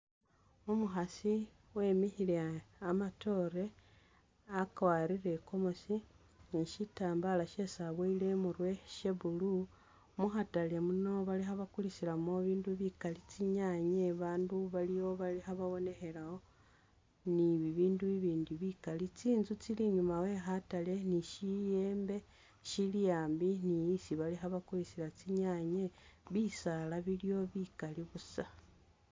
Umukhasi wemikhile amatoore akwarire i gomesi ni shitambala shesi abuwele imurwe sha blue, mu khatale muno balikho bakulisilamo bi bindu bikali tsinyanye ba bandu baliwo balikhe babonekhelawo ni bibindu bibindi bikali tsinzu tsili inyuma we khatale ni shiyembe shili'ambi ni isi balikho bakulisila tsinyanye, bisaala biliwo bikali busa.